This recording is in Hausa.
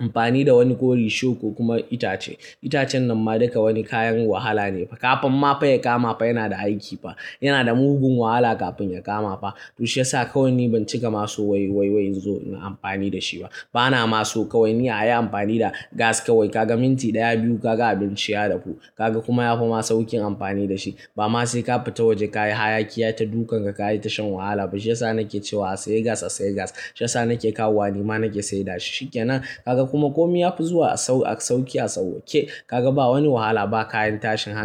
amfani da wani ko risho ko kuma itace. Itacen nan ma duka wani kayan wahala ne fa. Kafin ma fa ya kama fa yana da aiki fa. Yana da mugun wahala kafin ya kama fa. To shi ya sa kawai ni ban cika ma so wai wai wai in zo na amfani da shi ba. Ba na ma so kawai ni a yi amfani da gas kawai. Ka ga minti ɗaya biyu ka ga abinci ya dafu. Ka ga kuma yafi ma saukin amfani da shi. Ba ma sai ka fita waje ka yi hayaki yata dukan ka ka yi ta shan wahala ba. Shi ya sa nake cewa a saye gas, a saye gas. Shi ya sa nake kawo nima nake sai da shi. Shi ke nan. Kaga kuma komi ya fi zuwa a sau sauki a sauwake. Ka ga ba wani wahala ba kayan tashi haka.